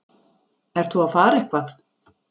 Ert þú að fara eitthvað?